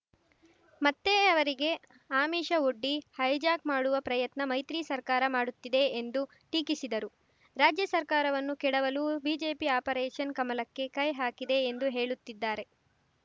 ಮತ್ತೆ ಅವರಿಗೆ ಆಮಿಷವೊಡ್ಡಿ ಹೈಜಾಕ್‌ ಮಾಡುವ ಪ್ರಯತ್ನ ಮೈತ್ರಿ ಸರ್ಕಾರ ಮಾಡುತ್ತಿದೆ ಎಂದು ಟೀಕಿಸಿದರು ರಾಜ್ಯ ಸರ್ಕಾರವನ್ನು ಕೆಡವಲು ಬಿಜೆಪಿ ಆಪರೇಷನ್‌ ಕಮಲಕ್ಕೆ ಕೈ ಹಾಕಿದೆ ಎಂದು ಹೇಳುತ್ತಿದ್ದಾರೆ